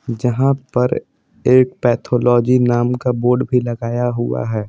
जहां पर एक पैथोलॉजी नाम का बोर्ड भी लगाया हुआ है।